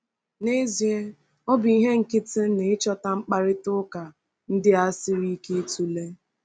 N’ezie, ọ bụ ihe nkịtị na ịchọta mkparịta ụka ndị a siri ike ịtụle.